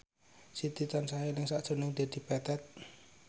Siti tansah eling sakjroning Dedi Petet